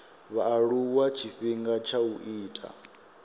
vhaaluwa tshifhinga tsha u ita